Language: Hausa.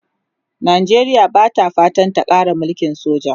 Najeriya Bata fatan ta Kara mulkin soja